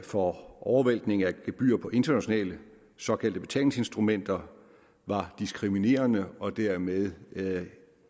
for overvæltning af gebyrer på internationale såkaldte betalingsinstrumenter var diskriminerende og dermed